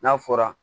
N'a fɔra